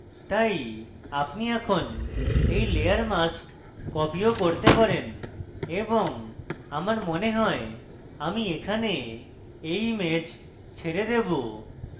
তাই আপনি এখন এই layer masks copy ও করতে পারেন এবং আমার মনে হয় আমি এখানে এই image ছেড়ে দেবো